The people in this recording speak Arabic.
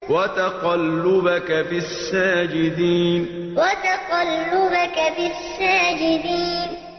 وَتَقَلُّبَكَ فِي السَّاجِدِينَ وَتَقَلُّبَكَ فِي السَّاجِدِينَ